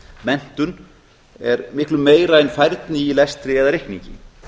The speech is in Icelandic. menntun er miklu meira en færni í lestri eða reikningi